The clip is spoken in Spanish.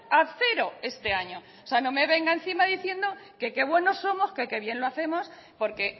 a cero este año o sea no me venga encima diciendo que qué buenos somos que qué bien lo hacemos porque